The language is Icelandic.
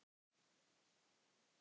Ég passa ömmu fyrir þig.